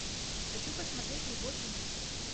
хочу посмотреть любовь и мир